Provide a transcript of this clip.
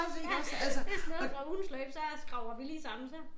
Ja det sådan noget fra ugens løb så skraber vi lige sammen så